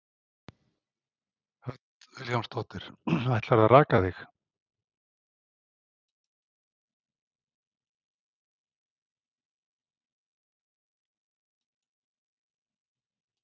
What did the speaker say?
Hödd Vilhjálmsdóttir: Ætlarðu að raka þig?